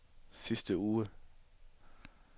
sidste uge